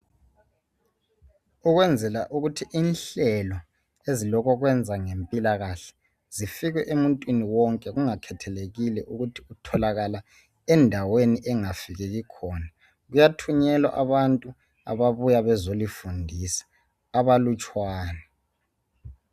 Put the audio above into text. Ukwenzela ukuthi inhlelo ezilokokwenza ngempilakahle zifike emuntwini wonke kungakhethelekile ukuthi utholakala endaweni engafikeki khona, kuyathunyelwa abantu ababuya bezolifundisa abalutshwana.